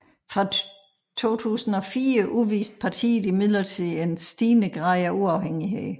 Fra 2004 udviste partiet imidlertid en stigende grad af uafhængighed